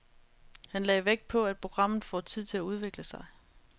Han lagde vægt på, at programmet får tid til at udvikle sig.